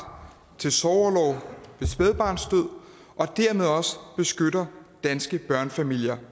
til sorgorlov ved spædbarnsdød og dermed også beskytter danske børnefamilier